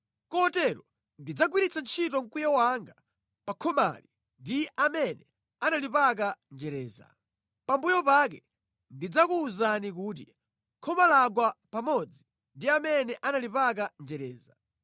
Kotero ndidzagwiritsa ntchito mkwiyo wanga pa khomali ndi pa amene analipaka njereza. Pambuyo pake ndidzakuwuzani kuti, ‘Khoma lagwa pamodzi ndi amene analipaka njereza.